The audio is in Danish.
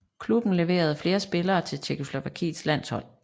Klubben levere flere spillere til Tjekkoslovakiets landshold